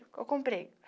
Eu comprei.